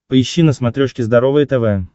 поищи на смотрешке здоровое тв